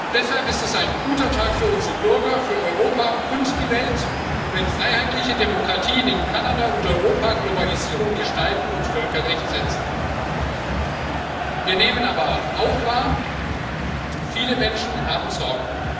Deshalb ist es ein guter Tag für unsere Bürger, für Europa und die Welt, wenn freiheitliche Demokratien in Kanada und Europa Globalisierung gestalten und Völkerrecht setzen. Wir nehmen aber auch wahr Viele Menschen haben Sorgen.